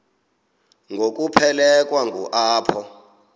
ngokuphelekwa ngu apho